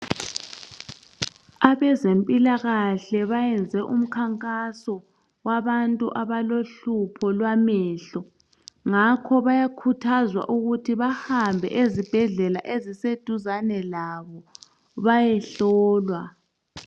Abezempilakahle bayenze umkhankaso wabantu abalohlupho lwamehlo. Ngakho bayakhuthazwa ukuthi bahambe ezibhedlela eziseduzane labo bayehlolwa.